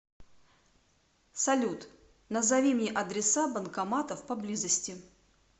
салют назови мне адреса банкоматов поблизости